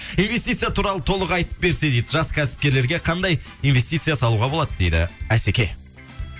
инвестиция туралы толық айтып берсе дейді жас кәсіпкерлерге қандай инвестиция салуға болады дейді асеке